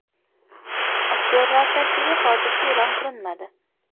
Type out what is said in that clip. Aktyorlar tarkibi hozircha e’lon qilinmadi.